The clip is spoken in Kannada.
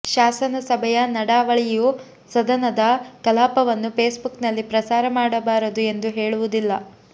ಶಾಸನಸಭೆಯ ನಡಾವಳಿಯು ಸದನದ ಕಲಾಪವನ್ನು ಫೇಸ್ಬುಕ್ನಲ್ಲಿ ಪ್ರಸಾರ ಮಾಡಬಾರದು ಎಂದು ಹೇಳುವುದಿಲ್ಲ